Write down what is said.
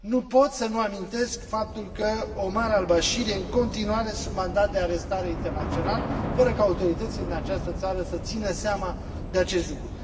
Nu pot să nu amintesc faptul că Omar al Bashir este în continuare sub mandat de arestare internațional, fără ca autoritățile din această țară să țină seama de acest lucru.